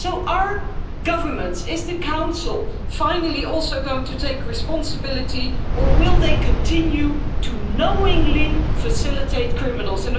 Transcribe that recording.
So are governments, is the Council finally also going to take responsibility, or will they continue to knowingly facilitate criminals?